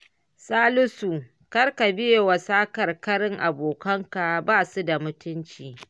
Salisu, kar ka biyewa sakarkarin abokanka ba su da mutunci